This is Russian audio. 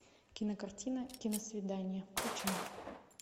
кинокартина киносвидание включай